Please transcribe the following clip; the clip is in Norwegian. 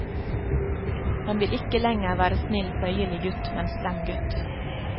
Han vil ikke lenger være snill, føyelig gutt, men slem gutt.